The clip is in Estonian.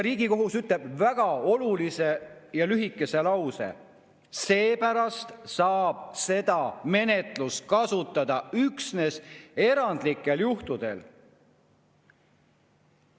Riigikohus ütleb väga olulise ja lühikese lause: seepärast saab seda menetlust kasutada üksnes erandlikel juhtudel.